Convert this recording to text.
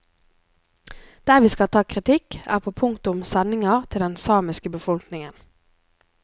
Der vi skal ta kritikk, er på punktet om sendinger til den samiske befolkningen.